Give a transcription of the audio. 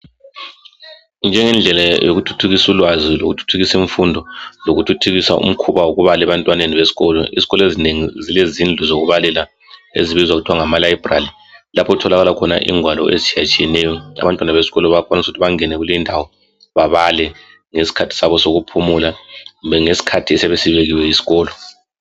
Njengendlela yokuthuthukisa ulwazi lokuthuthukisa imfundo lokuthuthukisa umkhuba wokubala ebantwaneni besikolo, ezikolo ezinengi zelezindlu zokubalela ezibizwa kuthwa ngamalibrary lapho okutholakala khona ingwalo ezitshiyetshiyeneyo. Abantwana besikolo bayakwanisa ukuthi bangene kulindawo babale ngesikhathi sabo sokuphumula kumbe ngesikhathi esiyabe sibekiwe yisikolo.